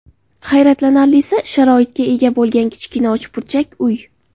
Hayratlanarli sharoitga ega bo‘lgan kichkina uchburchak uy .